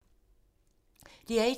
DR1